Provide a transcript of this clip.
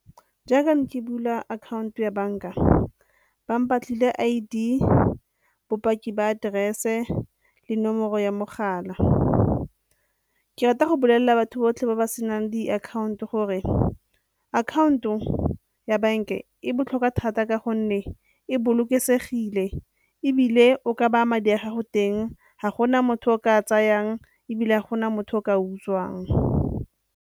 Jaaka ne ke bula akhaonto ya banka, ba mpatlile I_D, bopaki ba aterese le nomoro ya mogala. Ke rata go bolelela batho botlhe ba ba senang diakhaonto gore akhaonto ya banka e botlhokwa thata ka gonne e bolokesegile ebile o ka baya madi a gago teng, ga gona motho o ka tsayang ebile ga gona motho o ka a utswang.